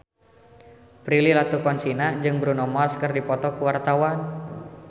Prilly Latuconsina jeung Bruno Mars keur dipoto ku wartawan